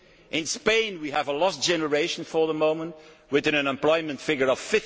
failing in Spain we have a lost generation for the moment with an unemployment figure